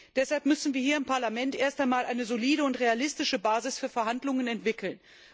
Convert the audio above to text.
Deshalb müssen wir im Parlament erst einmal eine solide und realistische Basis für Verhandlungen entwickeln.